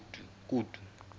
kutu